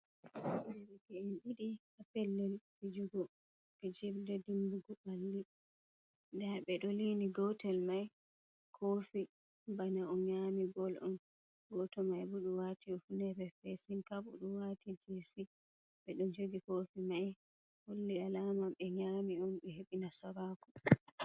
Derke'en didi ha pellel fijugo fijrde dimbugo balli. Ɗa be do lini goto mai kofi bana o nyami gol on. goto mai bo ɗo do wati hifnere feesin kabb, beɗu wati jessi, be do jogi kofi mai holli alama be nyami on be hebi nasaraku.